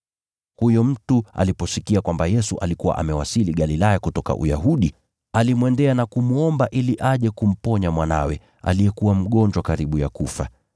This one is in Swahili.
Huyo mtu aliposikia kwamba Yesu alikuwa amewasili Galilaya kutoka Uyahudi, alimwendea na kumwomba ili aje kumponya mwanawe, aliyekuwa mgonjwa karibu ya kufa.